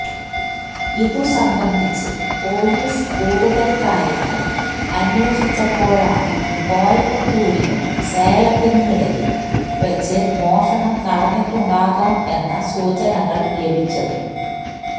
ഇതുസംബന്ധിച്ച് പൊലീസ് കൂടുതൽ കാര്യങ്ങൾ അന്വേഷിച്ചപ്പോഴാണ് കോയമ്പത്തൂരിനും സേലത്തിനും ഇടയിൽ വച്ച് മോഷണം നടന്നിട്ടുണ്ടാകാം എന്ന സൂചനകൾ ലഭിച്ചത്